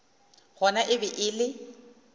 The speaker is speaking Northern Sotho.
gona e be e le